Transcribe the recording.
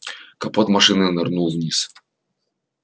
капот машины нырнул вниз